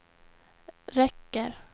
räcker